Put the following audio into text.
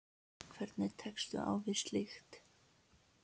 Hvernig tekstu á við slíkt?